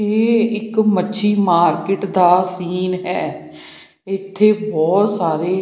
ਇਹ ਇੱਕ ਮੱਛੀ ਮਾਰਕਿਟ ਦਾ ਸੀਨ ਹੈ ਇੱਥੇ ਬਹੁਤ ਸਾਰੇ--